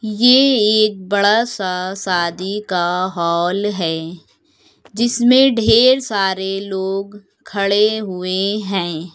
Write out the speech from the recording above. ये एक बड़ा सा शादी का हॉल है जिसमें ढेर सारे लोग खड़े हुए हैं।